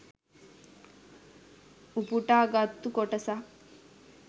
උපුටා ගත්තු කොටසක්